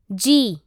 जी